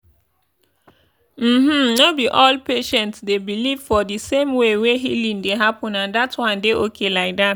uhm no be all patients dey believe for the same way wey healing dey happen and that one dey okay like that.